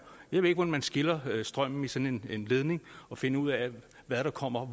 jeg ved ikke hvordan man skiller strømmen i sådan en ledning og finder ud af hvad der kommer